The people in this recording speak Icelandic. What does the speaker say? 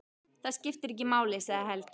Það skiptir ekki máli, sagði Helgi.